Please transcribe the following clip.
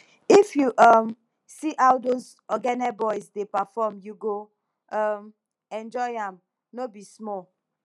if you um see how those ogene boys dey perform u go um enjoy am no be small